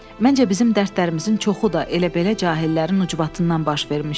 Məncə bizim dərdlərimizin çoxu da elə-belə cahillərin ucbatından baş vermişdi.